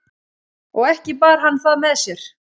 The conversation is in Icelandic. og ekki bar hann það með sér